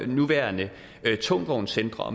nuværende tungtvognscentre